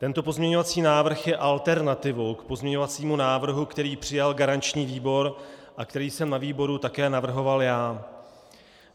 Tento pozměňovací návrh je alternativou k pozměňovacímu návrhu, který přijal garanční výbor a který jsem na výboru také navrhoval já.